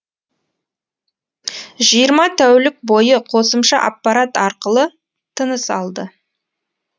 жиырма тәулік бойы қосымша аппарат арқылы тыныс алды